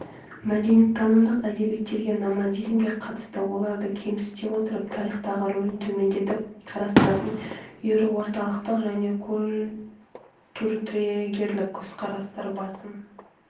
мәдениеттанымдық әдебиеттерде номадизмге қатысты оларды кемсіте отырып тарихтағы рөлін төмендетіп қарастыратын еуроорталықтық және культуртрегерлік көзқарастар басым